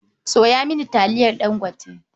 Sayo mini taliyar Ɗangote.